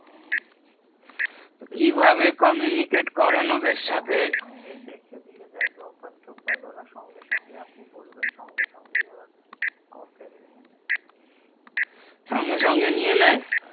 কিভাবে communicate করেন ওদের সাথে সঙ্গে সঙ্গে দেখে দিয়ে দেয় grofwer tofat ওরা সঙ্গে সঙ্গে আপনি বলবেন ওরা সঙ্গে সঙ্গে ওরা complain নিয়ে নেই সঙ্গে সঙ্গে নিয়ে নেই হ্যাঁ